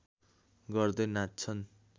गर्दै नाच्छन्